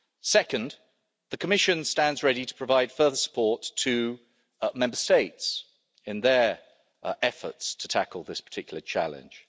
Second, the Commission stands ready to provide further support to Member States in their efforts to tackle this particular challenge.